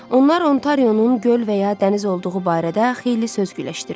Onlar Ontarionun göl və ya dəniz olduğu barədə xeyli söz gülləşdirdilər.